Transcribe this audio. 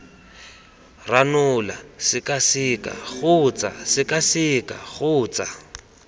ranola sekaseka kgotsa sekaseka kgotsa